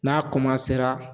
N'a